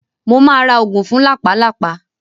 Mo máa ra oògùn fún làpálàpá.